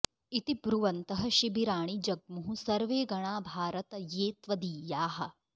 इति ब्रुवन्तः शिबिराणि जग्मुः सर्वे गणा भारत ये त्वदीयाः